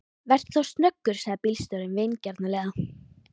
Vertu þá snöggur, sagði bílstjórinn vingjarnlega.